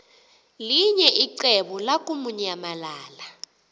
linye icebo lamukunyamalala